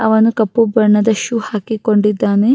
ಅವನು ಕಪ್ಪು ಬಣ್ಣದ ಶೂ ಹಾಕಿಕೊಂಡಿದ್ದಾನೆ.